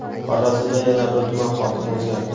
Xorazmda yana bir tuman hokimi o‘zgardi.